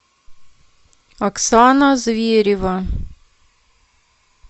оксана зверева